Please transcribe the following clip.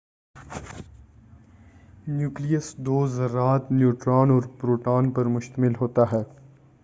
nucleus دو ذرات neutron اور پروٹون پر مشتمل ہوتا ہے